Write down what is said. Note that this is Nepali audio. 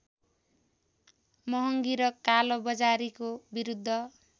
महङ्गी र कालोबजारीको विरूद्ध